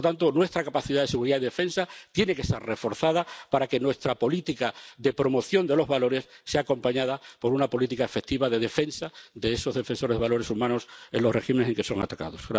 Por tanto, nuestra capacidad de seguridad y defensa tiene que estar reforzada para que nuestra política de promoción de los valores sea acompañada por una política efectiva de defensa de esos defensores de valores humanos en los regímenes en que son atacados.